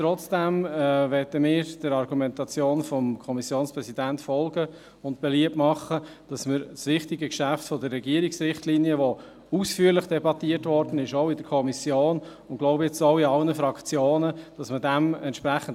Trotzdem möchten wir der Argumentation des Kommissionspräsidenten folgen und beliebt machen, dass wir beim wichtigen Geschäft der Regierungsrichtlinien dem Umstand Rechnung tragen, dass dieses in der Kommission und, wie ich glaube, auch in allen Fraktionen ausführlich debattiert wurde.